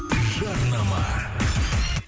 жарнама